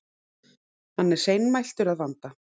Hann er seinmæltur að vanda.